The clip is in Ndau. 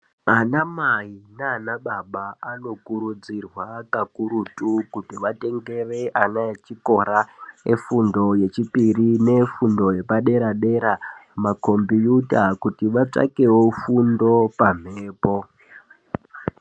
Vanamai nanababa anokurudzirwa kakurutu kuti vatengere ana echikora efundo yechipiri nefundo yepadera dera, makombiyuta kuti vatsvakewo fundo pamhepo.